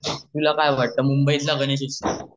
तुला काय वाट ते मुंबई तला गणेश उत्सव